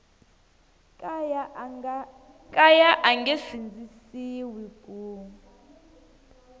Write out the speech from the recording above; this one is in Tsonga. kaya a nge sindzisiwi ku